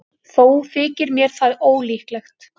Þó þykir mér það ólíklegt.